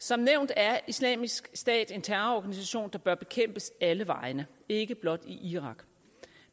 som nævnt er islamisk stat en terrororganisation der bør bekæmpes alle vegne ikke blot i irak